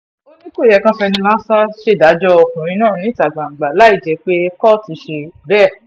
ó ní kò yẹ kan fẹnu lásán ṣèdájọ́ ọkùnrin náà níta gbangba láì jẹ́ pé kóòtù ṣe bẹ́ẹ̀